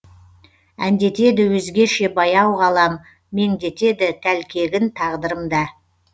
әндетеді өзгеше баяу ғалам меңдетеді тәлкегін тағдырым да